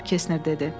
cənab Kesner dedi.